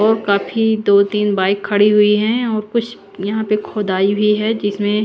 और काफी दो तीन बाइक खड़ी हुई है और कुछ यहाँ पर खुदाई हुई है जिसमे --